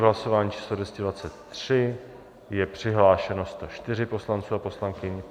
V hlasování číslo 223 je přihlášeno 104 poslanců a poslankyň.